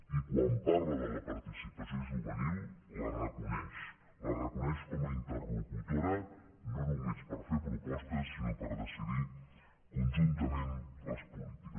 i quan parla de la participació juvenil la reconeix la reconeix com a interlocutora no només per fer propostes sinó per decidir conjuntament les polítiques